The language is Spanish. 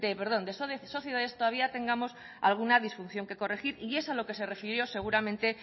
perdón de sociedades todavía tengamos alguna disfunción que corregir y es a lo que se refirió seguramente